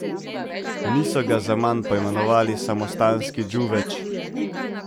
Niso ga zaman poimenovali samostanski džuveč.